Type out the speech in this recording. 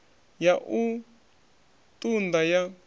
ya u ṱun ḓa ya